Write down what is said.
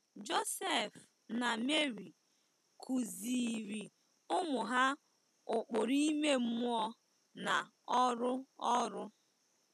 Josef na Meri kụziiri ụmụ ha ụkpụrụ ime mmụọ na ọrụ ọrụ.